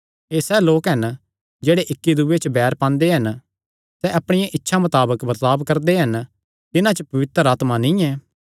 एह़ सैह़ लोक हन जेह्ड़े इक्की दूये च बैर पांदे हन सैह़ अपणिया इच्छा मताबक बर्ताब करदे हन तिन्हां च पवित्र आत्मा नीं ऐ